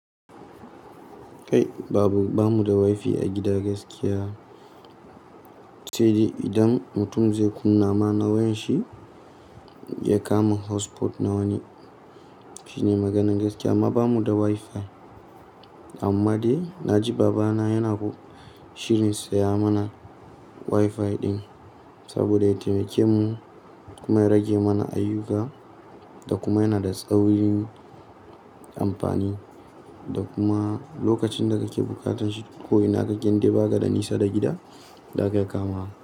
Kai babu, ba mu da wifi a gida gaskiya. Sai dai idan mutum zai kunna ma nawayanshi ya kama hotspot nawar ne. Shine maganan gaskiya amma ba mu da wifi. Amma dai na ji baba na yana shirin saya mana wifi din saboda ita mai kyau kuma ya rage mana ayuka da kuma yana da tsawon amfani. Da kuma lokacin da ka ke bukatan shi ko ina ka gina dibaga da nisa da gida za ka kama.